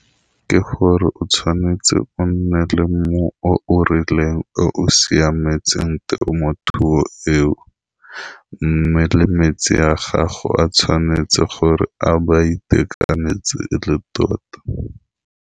Ke gore o tshwanetse o nne le mmu o o rileng o siametseng temothuo eo, mme le metsi ya gago a tshwanetse gore a ba itekanetse e le tota.